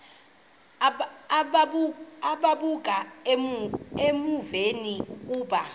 ukuba uvume ukuba